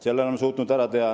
Selle oleme suutnud ka ära teha.